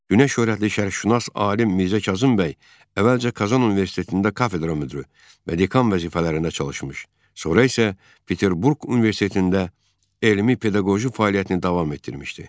Günəşşöhrətli şərqşünas alim Mirzə Kazım bəy əvvəlcə Kazan Universitetində kafedra müdiri və dekan vəzifələrində çalışmış, sonra isə Peterburq Universitetində elmi pedaqoji fəaliyyətini davam etdirmişdi.